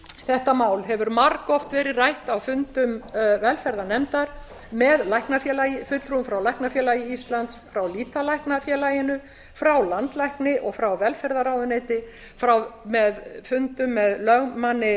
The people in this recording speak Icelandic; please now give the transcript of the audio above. þetta mál hefur margoft verið rætt á fundum velferðarnefndar með fulltrúum frá læknafélagi íslands frá lýtalæknafélaginu frá landlækni og frá velferðarráðuneyti með fundum með lögmanni